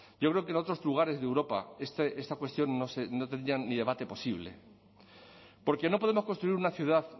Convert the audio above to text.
yo creo que en otros lugares de europa esta cuestión no tendría ni debate posible porque no podemos construir una ciudad